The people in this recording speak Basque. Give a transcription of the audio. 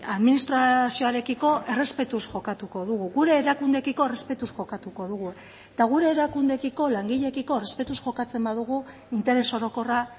administrazioarekiko errespetuz jokatuko dugu gure erakundeekiko errespetuz jokatuko dugu eta gure erakundeekiko langileekiko errespetuz jokatzen badugu interes orokorra